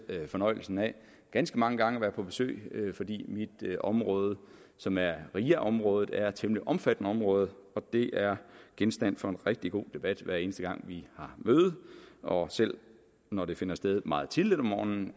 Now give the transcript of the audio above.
fornøjelsen af ganske mange gange at være på besøg fordi mit område som er ria området er et temmelig omfattende område det er genstand for en rigtig god debat hver eneste gang vi har møde og selv når de finder sted meget tidligt om morgenen